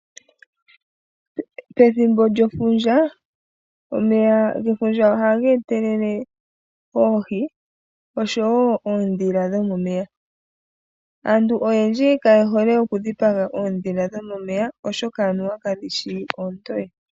Pethimbo lyefundja, omeya gefundja ohaga etelele oohi, oshowo oondhila dhomomeya. Aantu oyendji kaye hole okudhipaga oondhila dhomomeya, oshoka anuwa kadhishi oontoye.